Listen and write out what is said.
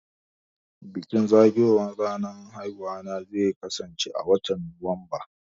Bikin zagayo wan ranar aihuwana zai kasan ce watan Nuwamba